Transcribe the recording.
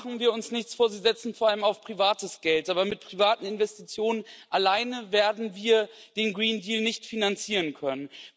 Machen wir uns nichts vor Sie setzen vor allem auf privates Geld, aber mit privaten Investitionen allein werden wir den Grünen Deal nicht finanzieren können.